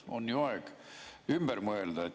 On ju aeg ümber mõelda.